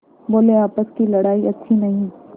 बोलेआपस की लड़ाई अच्छी नहीं